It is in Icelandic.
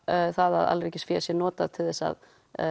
það að sé notað til þess að